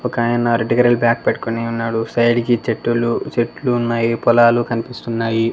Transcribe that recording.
ఒక ఆయన red colour bag పెట్టుకొని ఉన్నాడు సైడ్ కి చెట్టూలు చెట్లు ఉన్నాయి పొలాలు కనిపిస్తున్నాయి.